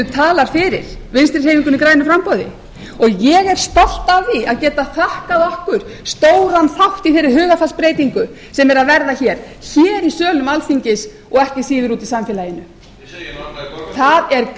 talar fyrir vinstri hreyfingunni grænu framboði ég er stolt af því að geta þakkað okkur stóran þátt í þeirri hugarfarsbreytingu sem er að verða hér í sölum alþingis og ekki síður úti í samfélaginu það